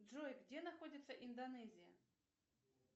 джой где находится индонезия